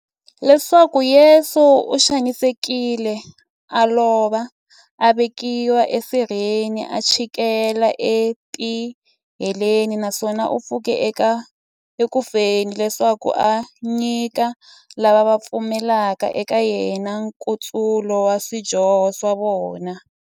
Leswaku Yesu u xanisekile, a lova, a vekiwa e sirheni, a chikela e tiheleni, naswona a pfuka eku feni, leswaku a nyika lava va pfumelaka eka yena, nkutsulo wa swidyoho swa vona.